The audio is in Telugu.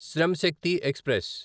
శ్రమ్ శక్తి ఎక్స్ప్రెస్